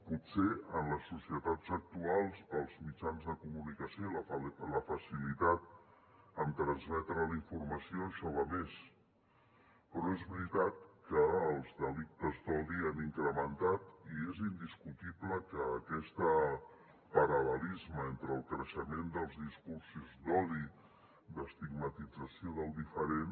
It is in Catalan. potser en les societats actuals pels mitjans de comunicació i la facilitat en transmetre la informació això va a més però és veritat que els delictes d’odi s’han incrementat i és indiscutible que aquest paral·lelisme entre el creixement dels discursos d’odi d’estigmatització del diferent